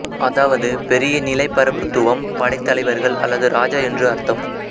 அதாவது பெரிய நிலைப்ரபுத்துவம் படைத்தவர்கள் அல்லது ராஜா என்று அர்த்தம்